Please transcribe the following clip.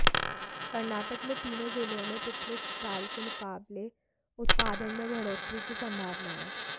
कर्नाटक में तीनों जिलों में पिछले साल के मुकाबले उत्पादन में बढ़ोतरी की संभावना है